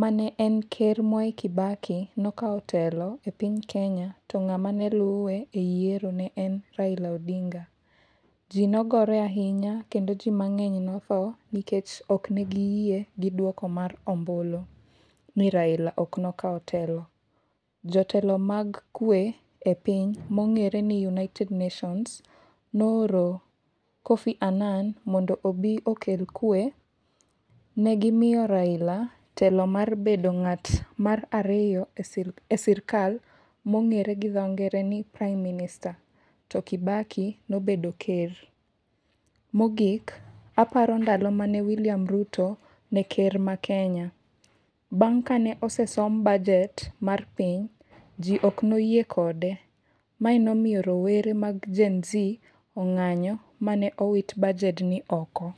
mane en ker Mwai Kibaki nokao telo e piny Kenya, to ng'ama ne luwe e yiero ne en Raila Odinga. Ji nogore ahinya kendo ji mang'eny nothoo nikech ok ne giyie gi duoko mar ombulu, ni Railo ok nokao telo. Jotelo mag kwe e piny mong'ere ni United Nations ne ooro Kofi Annan mondo obi okel kwe. Negimiyo Raila telo mar bed ng'at mar ariyo e sirkal mong'ere gi dho ngere ni Prime minister to Kibaki nobedo ker. Mogik, aparo ndalo mane William Ruto ne ker mar Kenya. Bang' ka ne osesom bajet mar piny, ji ok noyie kode. Mae nomiyo rowere mag Gen Z ong'anyo ma ne owit bajed ni oko.